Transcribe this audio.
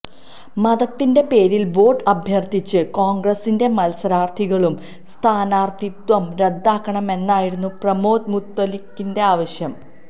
മതത്തിന്റെ പേരില് വോട്ട് അഭ്യര്ഥിച്ച കോണ്ഗ്രസിന്റൈ മത്സരാര്ഥികളുടെ സ്ഥാനാര്ഥിത്വം റദ്ദാക്കണമെന്നായിരുന്നു പ്രമോദ് മുത്തലിക്കിന്റെ ആവശ്യം